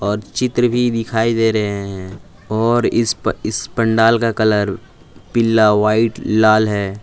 और चित्र भी दिखाई दे रहे हैं और इस इस पंडाल का कलर पीला व्हाइट लाल है।